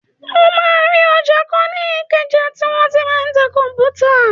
O máa rí ọjà kan ní ìkẹjà tí wọ́n tí ń ta kọ̀m̀pútà.